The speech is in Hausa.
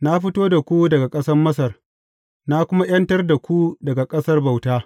Na fito da ku daga ƙasar Masar na kuma ’yantar da ku daga ƙasar bauta.